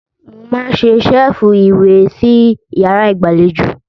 Mo máa n ṣe ṣẹ́ẹ́fù ìwé sí yàrárá ìgbàlejò.